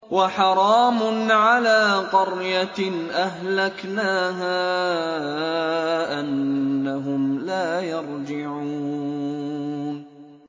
وَحَرَامٌ عَلَىٰ قَرْيَةٍ أَهْلَكْنَاهَا أَنَّهُمْ لَا يَرْجِعُونَ